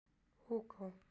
Húgó